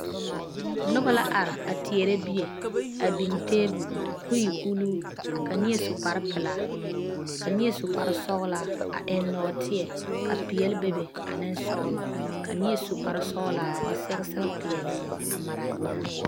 Noba la are a teɛre bie a biŋ tabol kɔ e ulluu ka neɛ su kpar pelaa, ka neɛ su kpar sɔglaa, a eŋ nɔɔteɛ ka pɛɛle bebe ane sɔglɔ. ka neɛ su kparre sɔglaa ka ba sɛge sɛge pɛɛle a mare a nyaa.